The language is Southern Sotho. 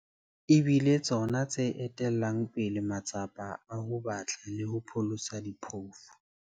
E bile tsona tse etellang pele matsapa a ho batla le ho pholosa diphofu.